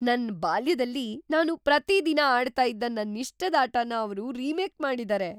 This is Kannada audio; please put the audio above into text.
ನನ್ ಬಾಲ್ಯದಲ್ಲಿ ನಾನು ಪ್ರತೀ ದಿನ ಆಡ್ತಾ ಇದ್ದ ನನ್ನಿಷ್ಟದ್ ಆಟನ ಅವ್ರು ರಿಮೇಕ್ ಮಾಡಿದಾರೆ!